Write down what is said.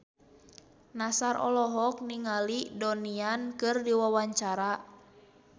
Nassar olohok ningali Donnie Yan keur diwawancara